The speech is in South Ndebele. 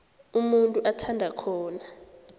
umuntu athanda khona